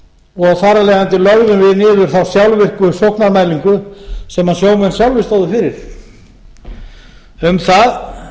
og þar af leiðandi lögðum við niður þá sjálfvirku sóknarmælingu sem sjómenn sjálfir stóðu fyrir um það